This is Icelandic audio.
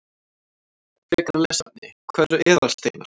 Frekara lesefni: Hvað eru eðalsteinar?